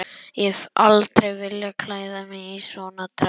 Ég hef aldrei viljað klæða mig í svona dress.